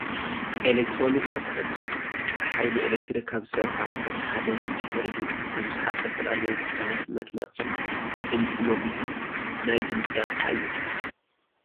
ኤሌክትሮኒክስ ኣቑሑት፡- ብሓይሊ ኤሌክትሪክ ካብ ዝሰርሑ ኣቑሑት ሓደ ስፒከር እዩ፡፡ ንብዙሓት ዝተፈላለዩ ጉዳያት መድመቕን ድምፂ መጉልህን ናይ ድምፂ ኣቕሓ እዩ፡፡